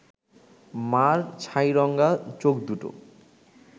মা’র ছাইরঙা চোখদুটো